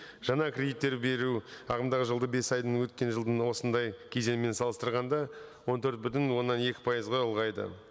жаңа кредиттер беру ағымдағы жылда бес айдың өткен жылдың осындай кезеңімен салыстырғанда он төрт бүтін оннан екі пайызға ұлғайды